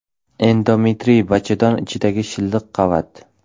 Endometriy bachadon ichidagi shilliq qavat.